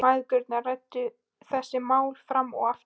Mæðgurnar ræddu þessi mál fram og aftur.